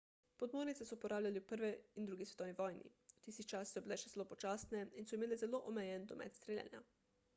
podmornice so uporabljali v 1 in 2 svetovni vojni v tistih časih so bile še zelo počasne in so imele zelo omejen domet streljanja